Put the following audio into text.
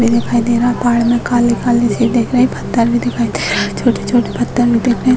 पेड़ दिखाई दे रहा है पहाड़ में काले-काले से दिख रहे हैं पत्थर भी दिखाई दे रहा है छोटे-छोटे पत्थर भी दिख रहे हैं।